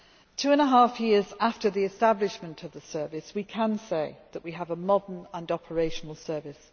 Two and a half years after the establishment of the service, we can say that we have a modern and operational service.